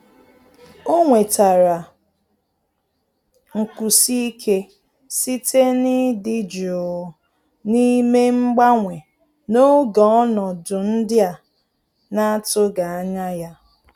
Ọ́ nwètàrà nkwụsi ike site n’ị́dị́ jụụ na ímé mgbanwe n’ógè ọnọdụ ndị a nà-àtụ́ghị́ ányá ya.